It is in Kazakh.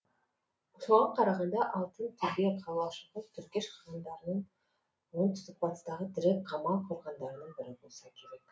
соған қарағанда алтынтөбе қалашығы түргеш қағандарының оңтүстік батыстағы тірек қамал қорғандарының бірі болса керек